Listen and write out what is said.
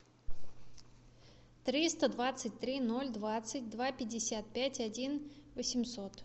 триста двадцать три ноль двадцать два пятьдесят пять один восемьсот